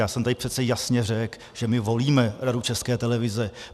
Já jsem tady přece jasně řekl, že my volíme Radu České televize.